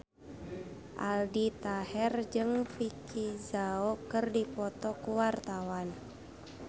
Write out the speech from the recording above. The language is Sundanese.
Aldi Taher jeung Vicki Zao keur dipoto ku wartawan